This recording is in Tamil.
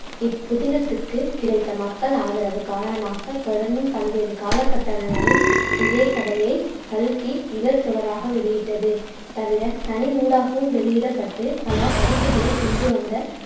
இப்புதினத்துக்கு கிடைத்த மக்கள் ஆதரவு காரணமாகத் தொடர்ந்தும் பல்வேறு காலகட்டனங்களும் இதே கதையை கல்கி இதழ் தொடராக வெளியிட்டது. தவிர தனி நூலாகவும் வெளியிடப்பட்டுப் பல பதிப்புக்களைக் கொண்டுவந்த